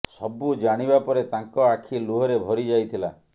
ସବୁ ଜାଣିବା ପରେ ତାଙ୍କ ଆଖି ଲୁହରେ ଭରି ଯାଇଥିଲା